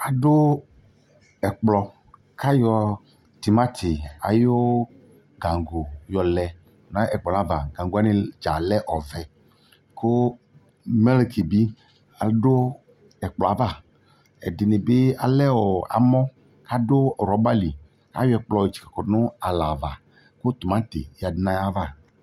Ado ɛkplɔ ka yɔ temate ayo gango yɔ lɛ no ɛkplɔ ava Gango wane dza lɛ ɔvɛ, ko mleki be ado ɛkplɔ ava Ɛdene be ɛla ɔ amɔ kɔdɔ rɔba li Ayɔ ɛkplɔ tse kɔ no alɛ ava ko tomate yadu no ayava